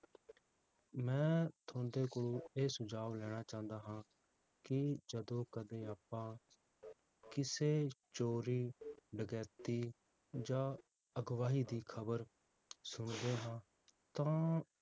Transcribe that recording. ਮੈ ਥੋਂਦੇ ਕੋਲੋਂ ਇਹ ਸੁਝਾਵ ਲੈਣਾ ਚਾਹੁੰਦਾ ਹਾਂ ਕਿ ਜਦੋ ਕਦੇ ਆਪਾਂ ਕਿਸੇ ਚੋਰੀ, ਡਕੈਤੀ, ਜਾਂ ਅਘਵਾਹੀ ਦੀ ਖਬਰ ਸੁਣਦੇ ਹਾਂ ਤਾਂ